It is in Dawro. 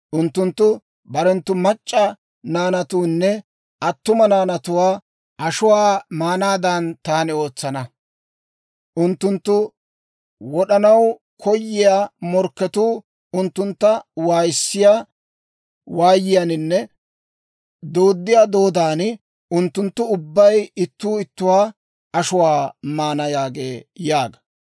Unttunttu barenttu mac'c'a naanatuunne attuma naanatuwaa ashuwaa maanaadan taani ootsana. Unttunttu wod'anaw koyiyaa morkketuu unttuntta waayissiyaa waayiyaaninne dooddiyaa dooddan, unttunttu ubbay ittuu ittuwaa ashuwaa maana» yaagee› yaaga.